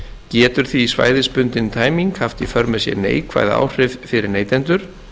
getur því svæðisbundin tæming haft í för með sér neikvæð áhrif fyrir neytendur